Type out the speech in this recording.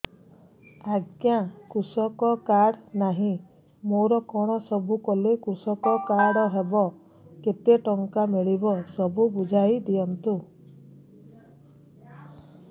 ଆଜ୍ଞା କୃଷକ କାର୍ଡ ନାହିଁ ମୋର କଣ ସବୁ କଲେ କୃଷକ କାର୍ଡ ହବ କେତେ ଟଙ୍କା ମିଳିବ ସବୁ ବୁଝାଇଦିଅନ୍ତୁ